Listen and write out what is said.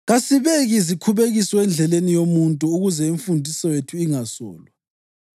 Kasibeki zikhubekiso endleleni yomuntu ukuze imfundiso yethu ingasolwa.